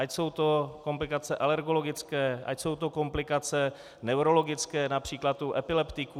Ať jsou to komplikace alergologické, ať jsou to komplikace neurologické, například u epileptiků.